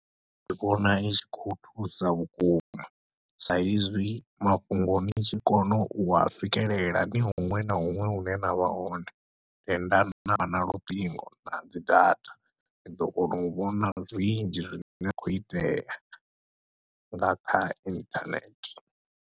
Ndi vhona itshi khou thusa vhukuma sa izwi mafhungo ni tshi kona ua swikelela ni huṅwe na huṅwe hune navha hone, tenda navha na luṱingo nadzi data ni ḓo kona u vhona zwinzhi zwine khou itea nga kha inthanethe.